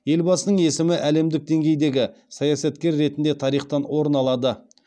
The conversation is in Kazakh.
елбасының есімі әлемдік деңгейдегі саясаткер ретінде тарихтан орын алады